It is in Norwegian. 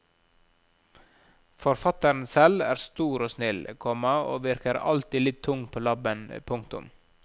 Forfatteren selv er stor og snill, komma og virker alltid litt tung på labben. punktum